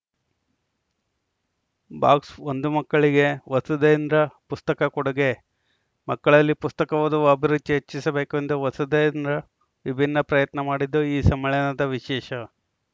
box ಒಂದು ಮಕ್ಕಳಿಗೆ ವಸುಧೇಂದ್ರ ಪುಸ್ತಕ ಕೊಡುಗೆ ಮಕ್ಕಳಲ್ಲಿ ಪುಸ್ತಕ ಓದುವ ಅಭಿರುಚಿ ಹೆಚ್ಚಿಸಬೇಕು ಎಂದು ವಸುಧೇಂದ್ರ ವಿಭಿನ್ನ ಪ್ರಯತ್ನ ಮಾಡಿದ್ದು ಈ ಸಮ್ಮೇಳನದ ವಿಶೇಷ